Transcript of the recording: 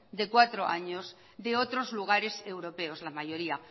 de cuatro años de otros lugares europeos la mayoría